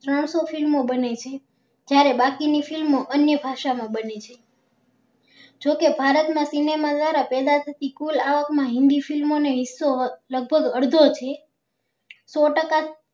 ચારસો film ઓ બને છે જયારે બાકી ની film અન્ય ભાષા માં બને છે જો કે ભારત માં cinema કુલ પેદા થતી આવક માં હિન્દી film ને હિસ્સો લગભગ અડધો છે સો ટકા